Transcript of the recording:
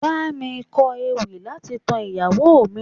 Bámi kọ ewì láti tan ìyàwó mi.